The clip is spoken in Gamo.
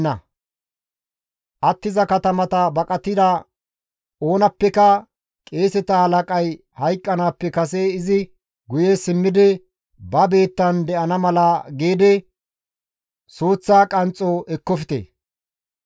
Izan baqati attiza katama baqatida oonappeka qeeseta halaqay hayqqanaappe kase izi guye simmidi ba biittan de7ana mala giidi suuththa qanxxo ekkofte.